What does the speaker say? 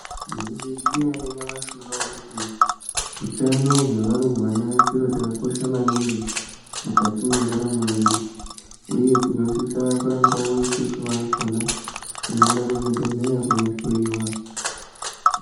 Maizviziva here nyamashi unowu kuti hutano hwevarumbwana chiro chakakosha maningi mukati mendaramo yedu uye tinosisawo isusu vakona teienda kuzvibhedhlera kundohloiwa.